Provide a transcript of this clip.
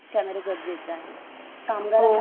कामगार कोणत्या प्रकारचे बांधकाम